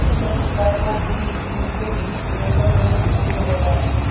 अपने पिता को भी इनके बीच देखकर धनी खुश हो गया